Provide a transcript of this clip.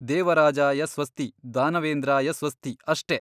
ದೇವರಾಜಾಯ ಸ್ವಸ್ತಿ ದಾನವೇಂದ್ರಾಯ ಸ್ವಸ್ತಿ ಅಷ್ಟೇ!